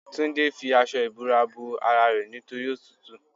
Túndé fi aṣọ ìbora bo ara rẹ nítorí òtútù.